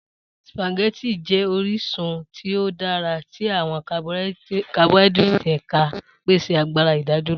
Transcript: Spaghetti jẹ orisun ti o dara ti awọn carbohydrates eka, pese agbara idaduro.